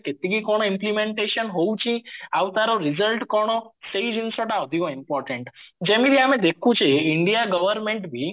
କେତିକି କଣ implementation ହଉଚି ଆଉ ତାର result କଣ ସେଇ ଜିନିଷଟା ଅଧିକ important ଯେମିତି ଆମେ ଦେଖୁଛେ india government ଭି